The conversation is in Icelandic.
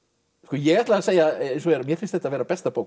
ég ætla að segja eins og er að mér finnst þetta vera besta bók